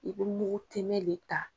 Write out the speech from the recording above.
I be mugu tɛmɛn le ta